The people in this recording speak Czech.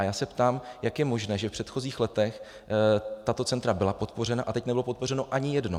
A já se ptám, jak je možné, že v předchozích letech tato centra byla podpořena a teď nebylo podpořeno ani jedno.